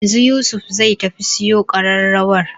Yanzu Yusuf zai tafi siyo ƙararrawar